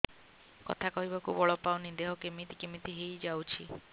କଥା କହିବାକୁ ବଳ ପାଉନି ଦେହ କେମିତି କେମିତି ହେଇଯାଉଛି